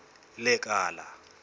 lekala